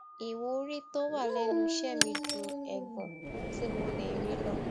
ìwúrí tó wà lẹnu iṣé mi ju ègàn tí mo lè rí lọ